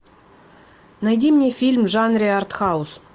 найди мне фильм в жанре артхаус